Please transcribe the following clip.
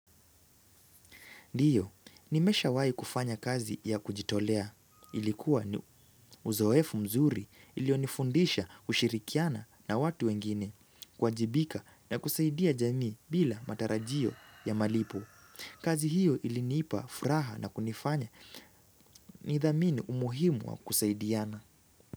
Ndiyo, nimeshawai kufanya kazi ya kujitolea. Ilikuwa uzoefu mzuri iliyonifundisha kushirikiana na watu wengine, kuwajibika na kusaidia jamii bila matarajio ya malipo. Kazi hiyo ilinipa, furaha na kunifanya, nithamini umuhimu wa kusaidiana.